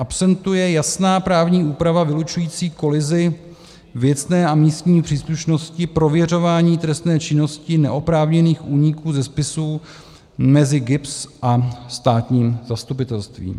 Absentuje jasná právní úprava vylučující kolizi věcné a místní příslušnosti prověřování trestné činnosti neoprávněných úniků ze spisů mezi GIBS a státním zastupitelstvím.